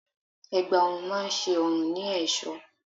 Ẹ̀gbá ọrùn máa ń ṣe ọrùn ní ẹ̀sọ́.